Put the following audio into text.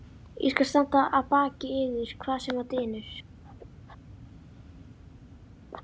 Ég skal standa að baki yður, hvað sem á dynur.